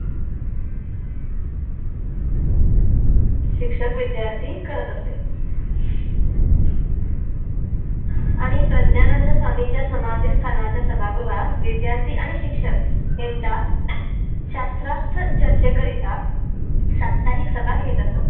शिक्षक विद्यार्थी करत असे आणि प्रज्ञानंद स्वामींच्या समाधि स्थाना च्या सभागृहात विद्यार्थी आणि शिक्षक यांचा शस्त्रास्त्र चर्चे करीता साप्ताहिक सभा घेत असतात